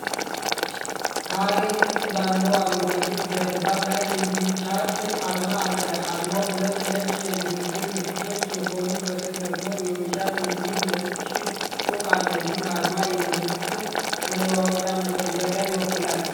ካሬ ቅርጽ ባለው አረንጓዴ ጀርባ ላይ የዊቻት አርማ አለ። አርማው ሁለት ነጭ የንግግር ምልክቶች ሲሆኑ፣ ከሥር ደግሞ የዊቻት የሚል ነጭ ጽሑፍ አለ። ይህ አርማ የመልዕክት መለዋወጫ መተግበሪያን ይወክላል።